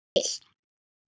Þetta átti hann til.